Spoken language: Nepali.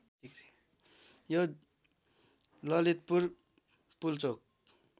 यो ललितपुर पुल्चोक